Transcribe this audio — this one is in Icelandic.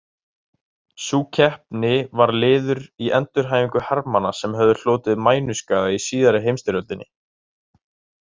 Sú keppni var liður í endurhæfingu hermanna sem höfðu hlotið mænuskaða í síðari heimsstyrjöldinni.